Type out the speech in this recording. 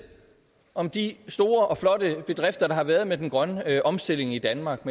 om de store og flotte bedrifter der har været med den grønne omstilling i danmark